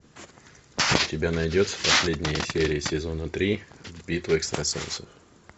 у тебя найдется последняя серия сезона три битва экстрасенсов